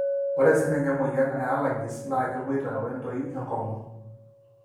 ore sininye emoyian allegies na keboita wentoi enkongu,